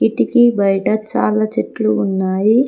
ఇటికీ బయట చాలా చెట్లు ఉన్నాయి.